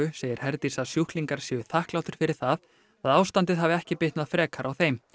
segir Herdís að sjúklingar séu þakklátir fyrir það að ástandið hafi ekki bitnað frekar á þeim